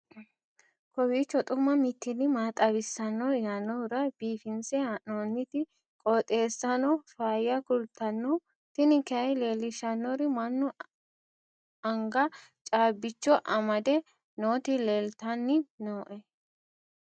kowiicho xuma mtini maa xawissanno yaannohura biifinse haa'noonniti qooxeessano faayya kultanno tini kayi leellishshannori mannu anga caabbicho amafdde nooti leeltanni nooe